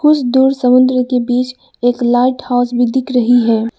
कुछ दूर समुद्र के बीच एक लाइट हाउस भी दिख रही है।